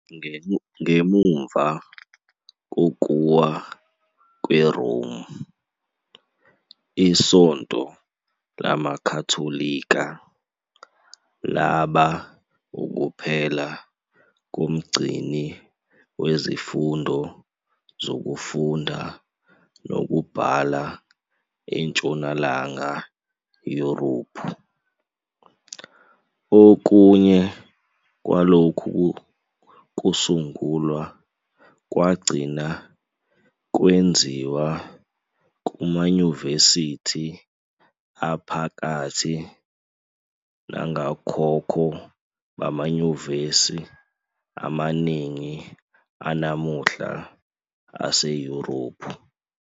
Ngemuva kokuwa kweRome, iSonto lamaKhatholika laba ukuphela komgcini wezifundo zokufunda nokubhala eNtshonalanga Yurophu. Okunye kwalokhu kusungulwa kwagcina kwenziwa kumayunivesithi aphakathi nongokhokho bamanyuvesi amaningi anamuhla aseYurophu.